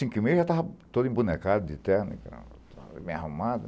cinco e meia já estava todo embonecado de terno e tal e tal, bem arrumado.